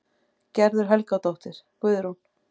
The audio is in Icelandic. Gerður Helgadóttir, Guðrún